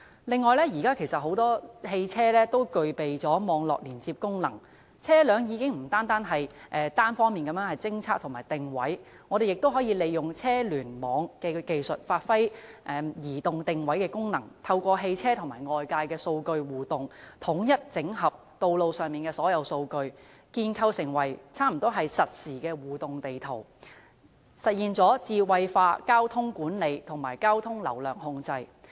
此外，現時不少汽車都具備網絡連接功能，車輛已經不單可作單方面偵測和定位，我們亦可以利用車聯網技術，發揮移動定位的功能，透過汽車與外界的數據互動，統一整合道路上所有數據，建構成幾乎實時的互動地圖，實現智慧化交通管理和交通流量控制。